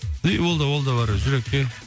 и ол да ол да бар жүрекке